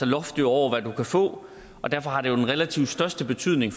loft over hvad man kan få og derfor har det den relativt største betydning